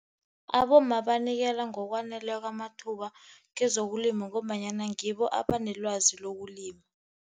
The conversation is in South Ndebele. Abomma banikelwa ngokwaneleko amathuba kwezokulima ngombanyana ngibo abanelwazi lokulima.